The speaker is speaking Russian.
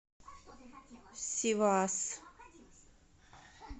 сивас